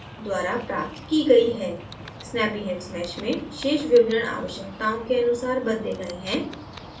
snappyhexmesh में शेष विवरण आवश्यकताओं के अनुसार बदले गए हैं